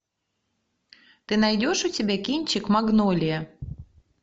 ты найдешь у себя кинчик магнолия